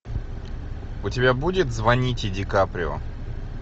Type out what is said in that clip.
у тебя будет звоните ди каприо